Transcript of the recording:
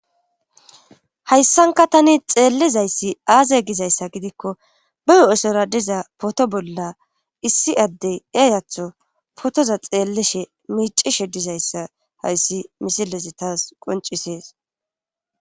Hayssankka tani xeellizayssi aaze gizyssa gidikko be huuphesoora diza pooto bolla issi addey eeyatho pootoza xeellishe miiccishe dizayssa hayssi misilezi taas qonccisees.